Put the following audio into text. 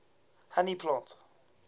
honey plants